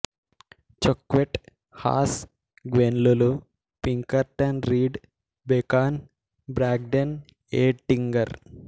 చొక్వెట్ Haas Gwen Lula Pinkerton Reed Bacon Bragdon Ettinger